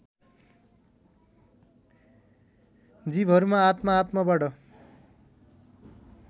जीवहरूमा आत्म आत्मबाट